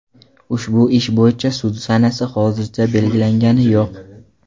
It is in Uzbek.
Ushbu ish bo‘yicha sud sanasi hozircha belgilangani yo‘q.